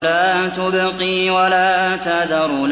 لَا تُبْقِي وَلَا تَذَرُ